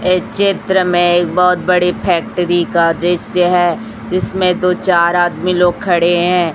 ये चित्र में एक बहोत बड़ी फैक्ट्री का दृश्य हैं जिसमें दो चार आदमी लोग खड़े हैं।